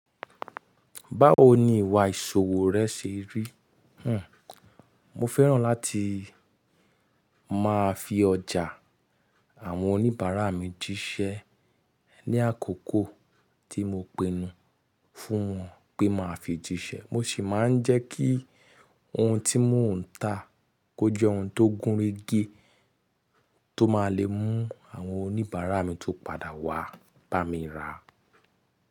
Báwo ni ìwà ìṣòwò rẹ ṣe rí? Hm, mo fẹ́ràn láti máa fi ọjà àwọn oníbàárà mi jíṣẹ́ ní àkókò tí mo pinnu fún wọn pé máa fi jíṣẹ́. Mo sì máa ń jẹ́ kí ohun tí mò ń ta kó jẹ́ ohun tó gúnrégé, tó máa le mú àwọn oníbàárà mi tó padà wá bá mi ra.